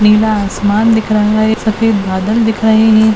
नीला आसमान दिख रहा है सफ़ेद बादल दिखाई--